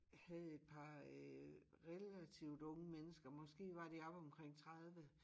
Havde et par øh relativt unge mennesker måske var de oppe omkring 30